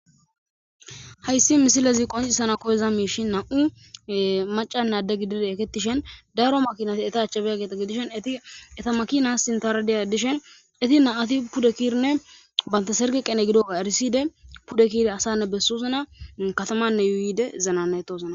hayssi misilezi qonccisana koyiza miishshii nam'u macanne aadde gidida ekketishin daaro maakinati eetta aachchi biiyageeta gidishin eetti eetta maakina sintara diya dishin eetti na'ati pudde ke'idinne bantta serge qane gidoga eriside pudde ke'ida asanne bessosonna katamanne yuuyide zanana'etosonna